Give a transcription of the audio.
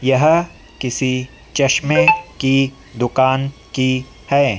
यह किसी चश्मे की दुकान की हैं।